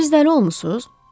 Siz dəli olmusunuz?